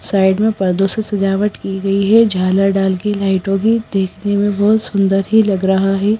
Side में पर्दों से सजावट की गई है झाला डाल के लाइटों की देखने में बहुत सुंदर ही लग रहा है।